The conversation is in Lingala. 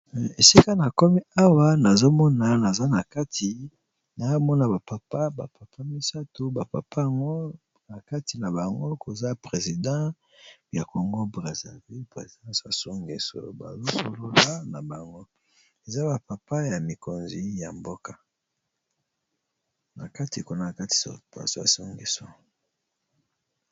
Esika na komi awa nazomona naza na kati naamona bapapa bapapa misato bapapana kati na bango koza president ya kongo brésilvi présidence asongeso bazosolola na bango eza bapapa ya mikonzi ya mboka na kati kona a kati asongeso